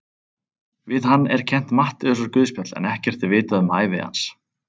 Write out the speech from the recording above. Við hann er kennt Matteusarguðspjall en ekkert er vitað um ævi hans.